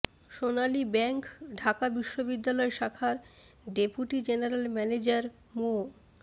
সোনালী bank Dhaka বিশ্ববিদ্যালয় শাখার deputy general manager মো